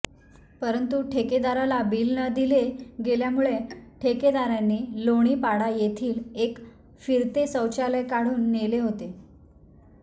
परंतु ठेकेदाराला बिल न दिले गेल्यामुळे ठेकेदाराने लोणीपाडा येथील एक फिरते शौचालय काढून नेले होते